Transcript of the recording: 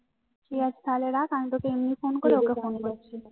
তুই আজ তাহলে রাখ আমি তোকে এমনি ফোন করে তোকে ফোন করছি